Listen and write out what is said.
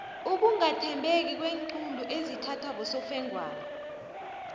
ukungathembeki kweenqundu ezithathwa bosofengwana